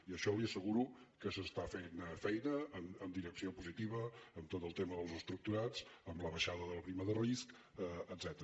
i això li asseguro que s’està fent feina en direcció positiva en tot el tema dels estructurats en la baixada de la prima de risc etcètera